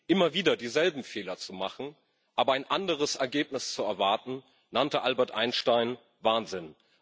Immer wieder dieselben Fehler zu machen, aber ein anderes Ergebnis zu erwarten, nannte Albert Einstein Wahnsinn.